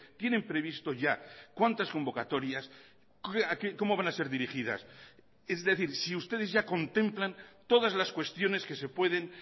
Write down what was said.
tienen previsto ya cuántas convocatorias cómo van a ser dirigidas es decir si ustedes ya contemplan todas las cuestiones que se pueden